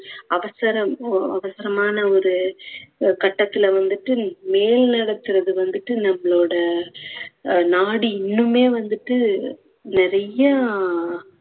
அவசரம் ஒ~ அவசரமான ஒரு கட்டத்துல வந்துட்டு வந்துட்டு நம்மளோட நாடு இன்னுமே வந்துட்டு நிறையா